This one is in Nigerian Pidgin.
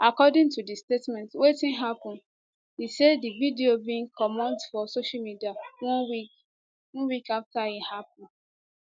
according to di statement wetin happun e say di video bin comot for social media one week one week afta e happun